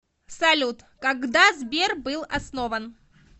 салют когда сбер был основан